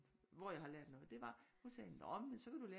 Hvor jeg har lært noget det var hun sagde nå men så kan du lære